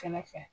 Kɛrɛfɛ